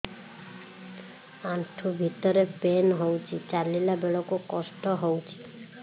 ଆଣ୍ଠୁ ଭିତରେ ପେନ୍ ହଉଚି ଚାଲିଲା ବେଳକୁ କଷ୍ଟ ହଉଚି